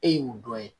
E y'o dɔn ye